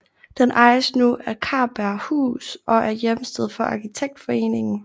Den ejes nu af Karberghus og er hjemsted for Arkitektforeningen